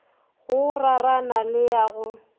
go rarana le ya go